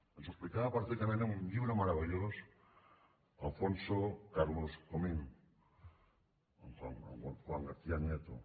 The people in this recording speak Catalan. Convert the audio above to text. ens ho explicava perfectament en un llibre meravellós alfonso carlos comín amb juan garcía nieto